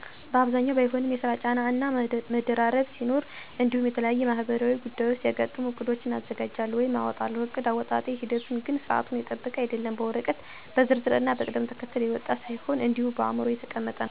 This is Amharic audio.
በአብዛኛው ባይሆንም የስራ ጫና እና መደራረብ ሲኖር እንዲሁም የተለያዩ ማህበራዊ ጉዳዮች ሲያጋጥሙ ዕቅዶችን አዘጋጃለሁ ወይም አወጣለሁ። የዕቅድ አወጣጠጥ ሂደት ግን ስርዓቱን የጠበቀ አይደለም፤ በወረቀት በዝርዝር ና በቅደም ተከተል የወጣ ሳይሆን እንዲሁ በአዕምሮዬ የተቀመጠ ነው።